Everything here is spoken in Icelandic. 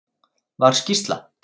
Var skýrsla